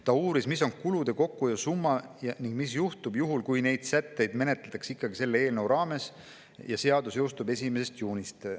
Ta uuris, mis on kulude kokkuhoiu summa ning mis juhtub, kui neid sätteid menetletakse ikkagi selle eelnõu raames ja seadus jõustub 1. juunist.